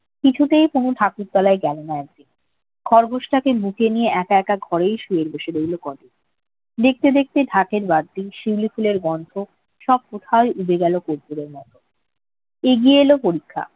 কিছুতেই তনু ঠাকুরতলায় গেল না একদিন। খরগোসটাকে বুকে নিয়ে একা একাই শুয়ে বসে রইল কয়েকদিন। দেখতে দেখতে ঢাকের বাদ্যি, শিউলি ফুলের গন্ধ সব কোথায় উবে গেল কর্পুরের মতো। এগিয়ে এল পরীক্ষা।